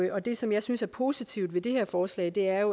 og det som jeg synes er positivt ved det her forslag er